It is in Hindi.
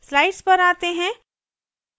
slides पर आते हैं